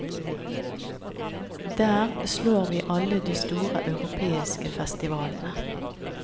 Der slår vi alle de store europeiske festivalene.